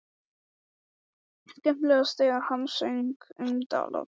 Skemmtilegast þegar hann söng um dalakofann.